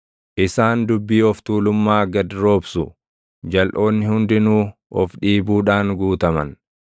Isaan dubbii of tuulummaa gad roobsu; jalʼoonni hundinuu of dhiibuudhaan guutaman.